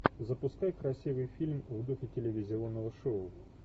запускай красивый фильм в духе телевизионного шоу